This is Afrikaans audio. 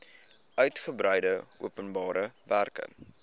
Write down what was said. uitgebreide openbare werke